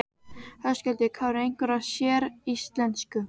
Höskuldur Kári: Einhverju séríslensku?